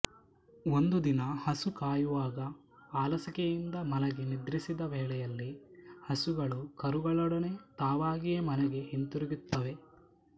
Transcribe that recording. ಒಂದು ದಿನ ಹಸು ಕಾಯುವಾಗ ಆಲಸಿಕೆಯಿಂದ ಮಲಗಿ ನಿದ್ರಿಸಿದ ವೇಳೆಯಲ್ಲಿ ಹಸುಗಳೂ ಕರುಗಳೊಡನೆ ತಾವಾಗಿಯೇ ಮನೆಗೆ ಹಿಂತಿರುಗುತ್ತವೆ